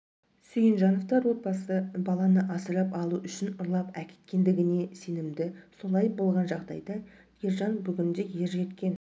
сүйінжановтар отбасы баланы асырап алу үшін ұрлап әкеткендігіне сенімді солай болған жағдайда ержан бүгінде ер жеткен